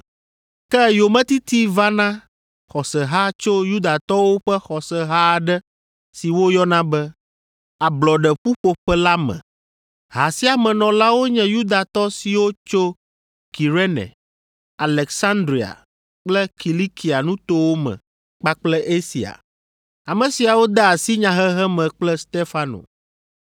Ke yometiti va na xɔseha tso Yudatɔwo ƒe xɔseha aɖe si woyɔna be, Ablɔɖe ƒuƒoƒe la me. Ha sia me nɔlawo nye Yudatɔ siwo tso Kirene, Aleksandria kple Kilikia nutowo me kpakple Asia. Ame siawo de asi nyahehe me kple Stefano.